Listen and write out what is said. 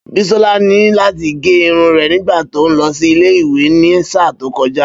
Bísọ́lá ní láti gẹ irun rẹ̀ nígbà tó ń lọ sí ilé ìwé ní sáà tó kọjá